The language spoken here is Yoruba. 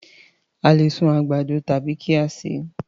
A le sun àgbàdo tàbí kí a sè é.